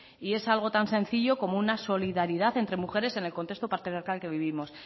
y es algo tan sencillo como una solidaridad entre mujeres en el contexto patriarcal que vivimos